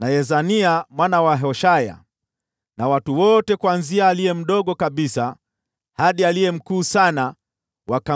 na Yezania mwana wa Hoshaya, na watu wote kuanzia aliye mdogo kabisa hadi aliye mkuu sana wakamjia